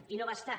i no ho va estar